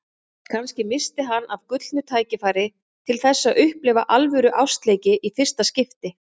Kannski missti hann af gullnu tækifæri til þess að upplifa alvöru ástarleiki í fyrsta skipti.